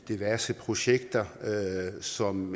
diverse projekter som